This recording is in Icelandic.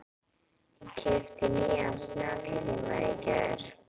Ég keypti nýjan snjallsíma í gær.